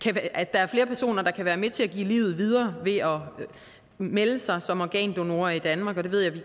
er flere personer der kan være med til at give livet videre ved at melde sig som organdonorer i danmark og det ved jeg vi